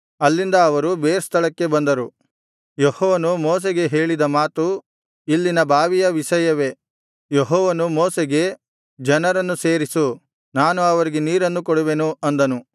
ಅಲ್ಲಿಂದ ಅವರು ಬೇರ್ ಸ್ಥಳಕ್ಕೆ ಬಂದರು ಯೆಹೋವನು ಮೋಶೆಗೆ ಹೇಳಿದ ಮಾತು ಇಲ್ಲಿನ ಬಾವಿಯ ವಿಷಯವೇ ಯೆಹೋವನು ಮೋಶೆಗೆ ಜನರನ್ನು ಸೇರಿಸು ನಾನು ಅವರಿಗೆ ನೀರನ್ನು ಕೊಡುವೆನು ಅಂದನು